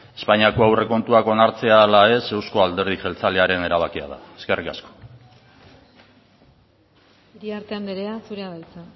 espainiako aurrekontuak onartzea ala ez euzko alderdi jeltzalearen erabakia da eskerrik asko eskerrik asko lehendakari jauna iriarte andrea zurea da hitza